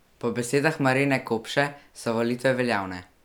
Po besedah Marine Kopše so volitve veljavne.